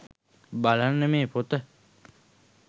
බලන්න මේ පොත